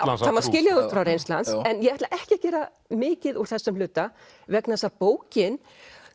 það má skilja það út frá reynslu hans en ég ætla ekki að gera mikið úr þessum hluta vegna þess að bókin